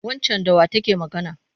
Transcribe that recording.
Waccan da wa take magana?